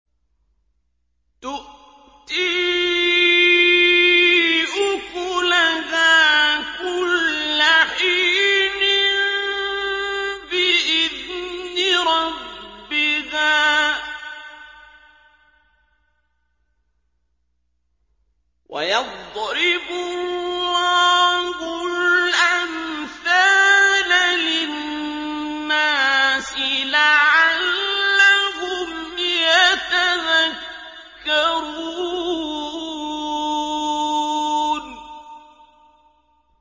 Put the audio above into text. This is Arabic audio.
تُؤْتِي أُكُلَهَا كُلَّ حِينٍ بِإِذْنِ رَبِّهَا ۗ وَيَضْرِبُ اللَّهُ الْأَمْثَالَ لِلنَّاسِ لَعَلَّهُمْ يَتَذَكَّرُونَ